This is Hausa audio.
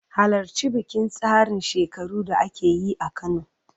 Halarci bikin tsarin shekaru da ake yi a Kano